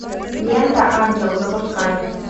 лента ангел запускай